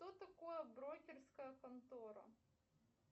кто такое брокерская контора